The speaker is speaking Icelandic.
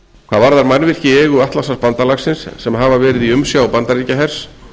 hvað varðar mannvirki í eigu atlantshafsbandalagsins sem hafa verið í umsjá bandaríkjahers